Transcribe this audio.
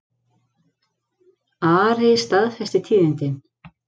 Ari staðfesti tíðindin.